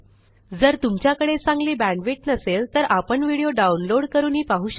जर तुमच्याकडे चांगली बॅण्डविड्थ नसेल तर आपण व्हिडिओ डाउनलोड करूनही पाहू शकता